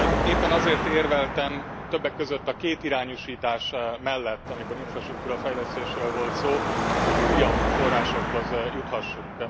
Éppen azért érveltem többek között a kétirányúsítás mellett, amikor infrastruktúra fejlesztésről volt szó, hogy újabb forrásokhoz juthassunk.